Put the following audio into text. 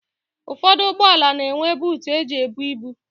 Ụfọdụ ụgbọala na-enwe buutu e ji ebu ibu.